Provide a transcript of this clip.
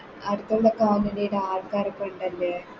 ഒക്കെ ആവുമ്പളത്തേക്ക് ആൾക്കാരൊക്കെ ഇണ്ടല്ലേ